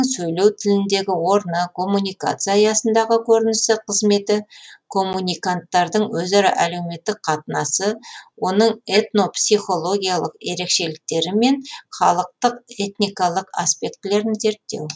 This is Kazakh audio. сөйлеу тіліндегі орны коммуникация аясындағы көрінісі қызметі коммуниканттардың өзара әлеуметтік қатынасы оның этнопсихологиялық ерекшеліктері мен халықтық этникалық аспектілерін зерттеу